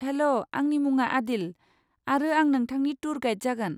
हेल', आंनि मुङा आदिल, आरो आं नोंथांनि टुर गाइड जागोन।